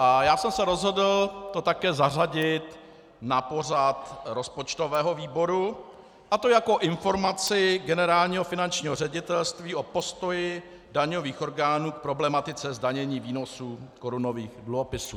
A já jsem se rozhodl to také zařadit na pořad rozpočtového výboru, a to jako informaci Generálního finančního ředitelství o postoji daňových orgánů k problematice zdanění výnosů korunových dluhopisů.